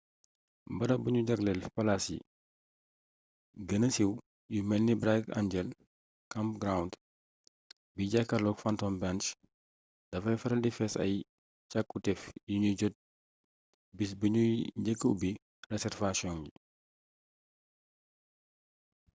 barab buñu jagleel palaas yi gëna siiw yu melni bright angel campground bi jaakarlook phantom ranch dafay faral di fees ak cakkutéef yuñuy jot bis biñuy njëkka ubbi reserwasiyoŋ yi